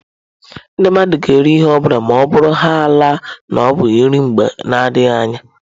Ndị mmadụ ga-eri ihe ọ bụla ma ọ bụrụhaala na ọ bụ nri mgbe na adịghị anya.